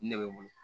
Ne bɛ n bolo